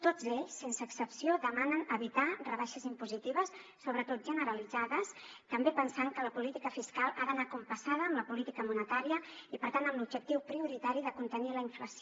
tots ells sense excepció demanen evitar rebaixes impositives sobretot generalitzades també pensant que la política fiscal ha d’anar compassada amb la política monetària i per tant amb l’objectiu prioritari de contenir la inflació